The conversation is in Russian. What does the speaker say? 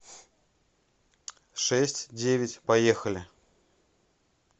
шесть девять поехали